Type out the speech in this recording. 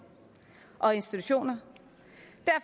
og institutioner